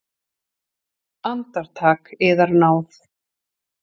Andartak, yðar náð!